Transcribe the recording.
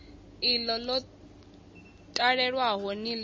iḽo ḽo talelwaho ni ḽi